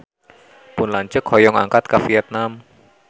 Pun lanceuk hoyong angkat ka Vietman